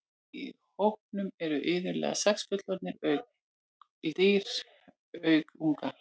Í hópnum eru iðulega sex fullorðin dýr auk unga.